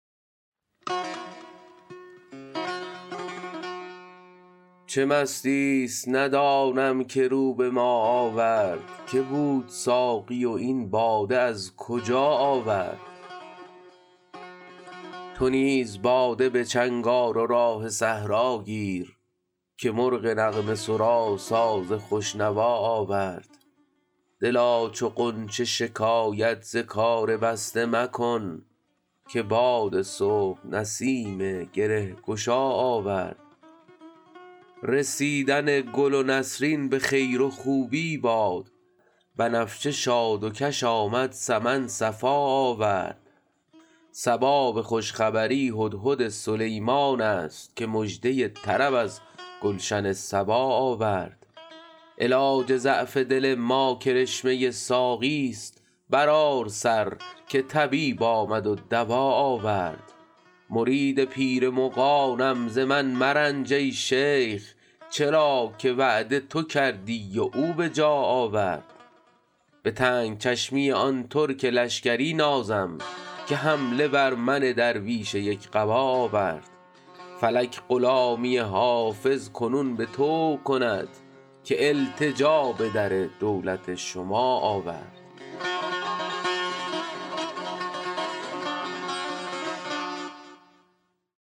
چه مستیی است ندانم که رو به ما آورد که بود ساقی و این باده از کجا آورد چه راه می زند این مطرب مقام شناس که در میان غزل قول آشنا آورد تو نیز باده به چنگ آر و راه صحرا گیر که مرغ نغمه سرا ساز خوش نوا آورد دلا چو غنچه شکایت ز کار بسته مکن که باد صبح نسیم گره گشا آورد رسیدن گل نسرین به خیر و خوبی باد بنفشه شاد و کش آمد سمن صفا آورد صبا به خوش خبری هدهد سلیمان است که مژده طرب از گلشن سبا آورد علاج ضعف دل ما کرشمه ساقیست برآر سر که طبیب آمد و دوا آورد مرید پیر مغانم ز من مرنج ای شیخ چرا که وعده تو کردی و او به جا آورد به تنگ چشمی آن ترک لشکری نازم که حمله بر من درویش یک قبا آورد فلک غلامی حافظ کنون به طوع کند که التجا به در دولت شما آورد